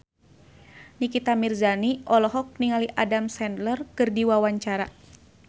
Nikita Mirzani olohok ningali Adam Sandler keur diwawancara